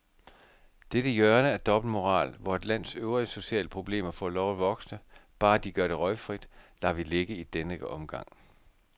Dette hjørne af dobbeltmoral, hvor et lands øvrige sociale problemer får lov at vokse, bare de gør det røgfrit, lader vi ligge i denne omgang.